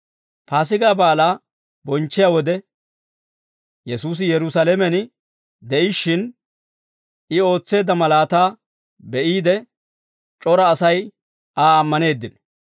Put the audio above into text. Paasigaa baalaa bonchchiyaa wode, Yesuusi Yerusaalamen de'ishshin, I ootseedda malaataa be'iide, c'ora Asay Aa ammaneeddino.